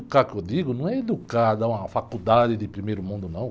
Educar, que eu digo, não é educar, dar uma faculdade de primeiro mundo, não.